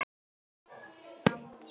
Nú ertu farinn frá okkur.